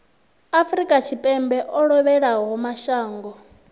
afrika tshipembe o lovhelaho mashango